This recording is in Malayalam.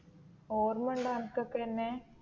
ഓർമ്മ ഉണ്ടോ നിനക്ക് ഒക്കെ എന്നെ